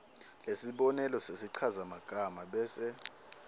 lesibonelo sesichazamagama bese